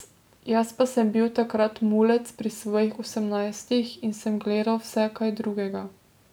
Jaz pa sem bil takrat mulec pri svojih osemnajstih in sem gledal vse kaj drugega.